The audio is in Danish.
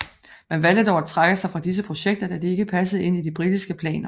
Man valgte dog at trække sig fra disse projekter da de ikke passede ind i de britiske planer